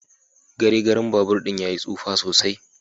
Garegaren babur din yayi tsufa sosai.